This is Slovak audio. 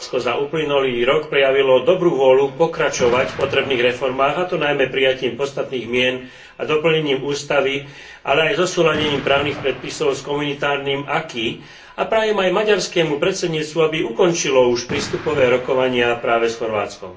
Chorvátsko za uplynulý rok prejavilo dobrú vôľu pokračovať v potrebných reformách, a to najmä prijatím podstatných zmien a doplnením ústavy, ale aj zosúladením právnych predpisov s komunitárnym a prajem aj maďarskému predsedníctvu, aby ukončilo už prístupové rokovania práve s Chorvátskom.